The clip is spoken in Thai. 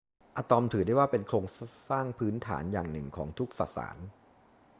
อะตอมถือได้ว่าเป็นโครงสร้างพื้นฐานอย่างหนึ่งของทุกสสาร